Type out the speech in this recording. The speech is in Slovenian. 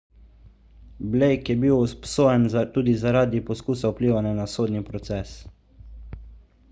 blake je bil obsojen tudi zaradi poskusa vplivanja na sodni proces